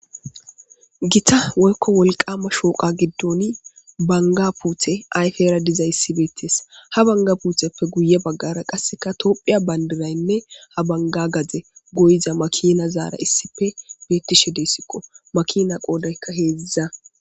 gita woykko wolqama shooqa giddoni banga puthe ayfe era dizay issibeettees ha banga putheppe guye baggara qasseka toophiya bandiraynne ha banga gaze goyiza makina zaara issife beettishe deesiqo makina qoodaykka heedziza